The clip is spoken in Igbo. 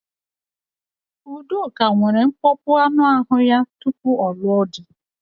Udoka nwere nkpọpu anụ ahụ ya tupu ọ lụọ di.